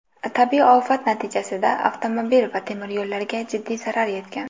Tabiiy ofat natijasida avtomobil va temiryo‘llarga jiddiy zarar yetgan.